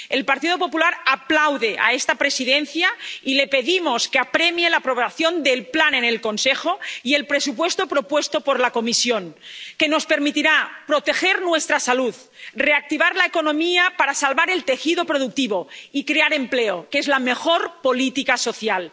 El Partido Popular aplaude a esta Presidencia, y le pedimos que apremie la aprobación del plan en el Consejo y el presupuesto propuesto por la Comisión, que nos permitirá proteger nuestra salud, reactivar la economía para salvar el tejido productivo y crear empleo, que es la mejor política social.